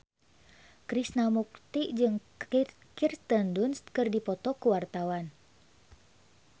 Krishna Mukti jeung Kirsten Dunst keur dipoto ku wartawan